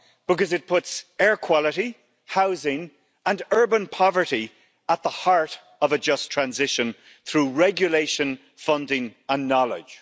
Because it puts air quality, housing and urban poverty at the heart of a just transition through regulation, funding and knowledge.